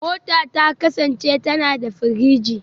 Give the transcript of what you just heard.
Mota ta kasance tana da firiji